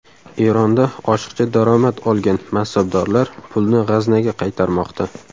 Eronda oshiqcha daromad olgan mansabdorlar pulni g‘aznaga qaytarmoqda.